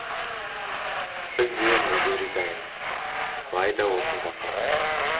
біз де мүлде риза емеспіз алайда осында қаламыз